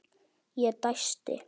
Ég dæsti.